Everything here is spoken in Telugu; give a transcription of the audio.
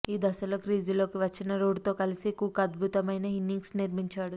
ఈ దశలో క్రీజులోకి వచ్చిన రూట్తో కలిసి కుక్ అద్భుతమైన ఇన్నింగ్స్ నిర్మించాడు